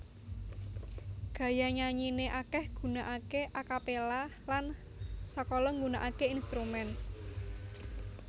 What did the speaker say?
Gaya nyanyine akeh gunakake a capella lan sakala gunakake instrumen